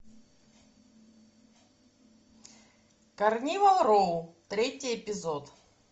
карнивал роу третий эпизод